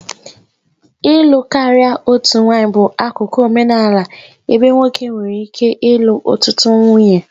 Ịlụ karịa otu nwanyị bụ akụkụ omenala ebe nwoke nwere ike ịlụ ọtụtụ nwunye.